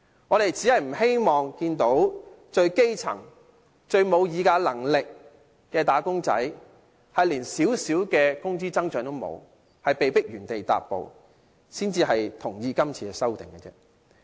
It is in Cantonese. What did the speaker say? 我們只是不希望看到最基層、最沒有議價能力的"打工仔"連少許工資增長也欠奉，被迫原地踏步，才會贊同今次的修訂。